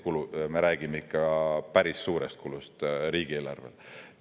Me räägime ikka päris suurest kulust riigieelarvele.